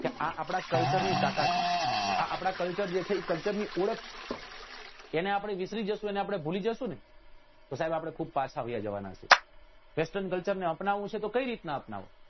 કે આપડા culture ની તાકાત છે આપડા જે culture જે છે એ culture ની ઓળખ એને આપડે વિસરી જઈશું એને આપડે ભૂલી જઈશું ને તો સાહેબ આપડે ખુબ પારખા વયા જવાના છીએ western culture અપનાવવું છે તો કઈ રીત ના અપનાવવું